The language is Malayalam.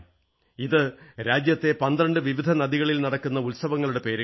ഇത് രാജ്യത്തെ 12 വിവിധ നദികളിൽ നടക്കുന്ന ഉത്സവങ്ങളുടെ പല പേരുകളാണ്